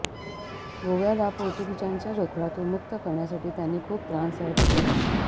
गोव्याला पोर्तुगीजांच्या जोखडातून मुक्त करण्यासाठी त्यांनी खूप त्रास सहन केला